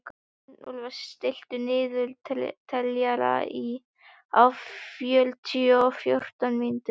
Arnúlfur, stilltu niðurteljara á fjörutíu og fjórar mínútur.